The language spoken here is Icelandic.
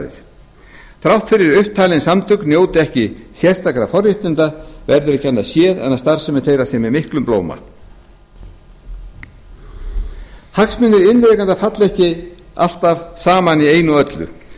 þrátt fyrir að upptalin samtök njóti ekki sérstakra forréttinda verður ekki annað séð en að starfsemi þeirra sé með miklum blóma hagsmunir iðnrekenda falla ekki alltaf saman í einu og öllu